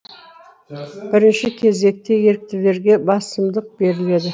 бірінші кезекте еріктілерге басымдық беріледі